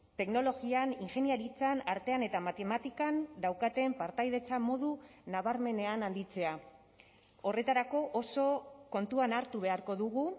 teknologian ingeniaritzan artean eta matematikan daukaten partaidetza modu nabarmenean handitzea horretarako oso kontuan hartu beharko dugu